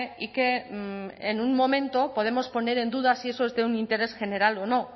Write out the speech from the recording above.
y que en un momento podemos poner en duda si eso es de un interés general o no